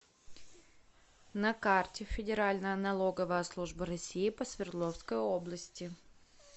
на карте федеральная налоговая служба россии по свердловской области